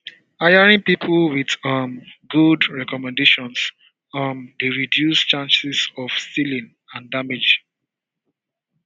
hiring people with um good recommendations um dey reduce chances of stealing and damage